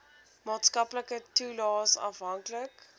maatskaplike toelaes afhanklik